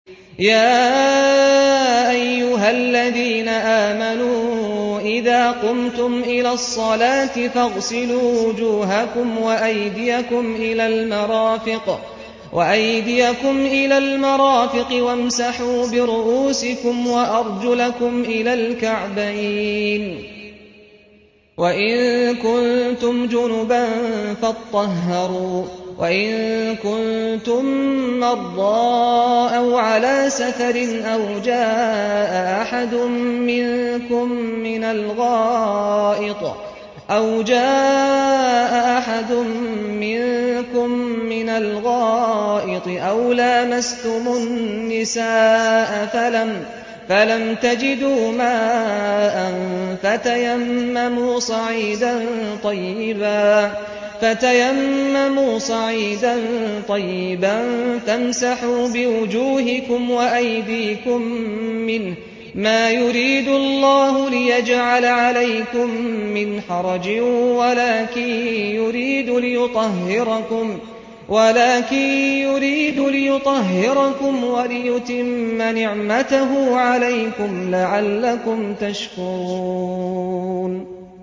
يَا أَيُّهَا الَّذِينَ آمَنُوا إِذَا قُمْتُمْ إِلَى الصَّلَاةِ فَاغْسِلُوا وُجُوهَكُمْ وَأَيْدِيَكُمْ إِلَى الْمَرَافِقِ وَامْسَحُوا بِرُءُوسِكُمْ وَأَرْجُلَكُمْ إِلَى الْكَعْبَيْنِ ۚ وَإِن كُنتُمْ جُنُبًا فَاطَّهَّرُوا ۚ وَإِن كُنتُم مَّرْضَىٰ أَوْ عَلَىٰ سَفَرٍ أَوْ جَاءَ أَحَدٌ مِّنكُم مِّنَ الْغَائِطِ أَوْ لَامَسْتُمُ النِّسَاءَ فَلَمْ تَجِدُوا مَاءً فَتَيَمَّمُوا صَعِيدًا طَيِّبًا فَامْسَحُوا بِوُجُوهِكُمْ وَأَيْدِيكُم مِّنْهُ ۚ مَا يُرِيدُ اللَّهُ لِيَجْعَلَ عَلَيْكُم مِّنْ حَرَجٍ وَلَٰكِن يُرِيدُ لِيُطَهِّرَكُمْ وَلِيُتِمَّ نِعْمَتَهُ عَلَيْكُمْ لَعَلَّكُمْ تَشْكُرُونَ